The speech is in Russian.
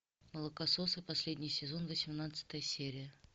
молокососы последний сезон восемнадцатая серия